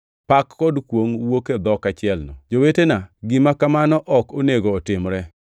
Pak kod kwongʼ wuok e dhok achielno! Jowetena, gima kamano ok onego otimre.